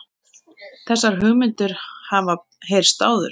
Þessar hugmyndir hafa heyrst áður